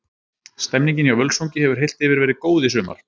Stemmningin hjá Völsungi hefur heilt yfir verið góð í sumar.